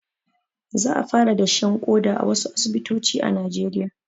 Za a fara dashen ƙoda a wasu asibitoci a najeriya